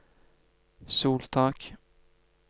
soltak